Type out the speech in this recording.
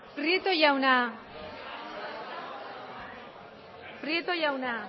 prieto jauna